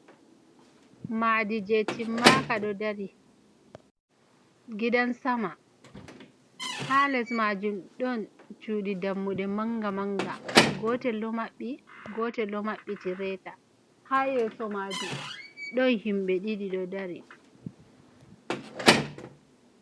Maadi jei timmaka ɗo dari, gidan sama. Ha les maajum ɗon cuɗi dammuɗe manga-manga, gotel ɗo maɓɓi, gotel ɗo maɓɓiti reta. Ha yeso maajum, ɗon himɓe ɗiɗi ɗo dari.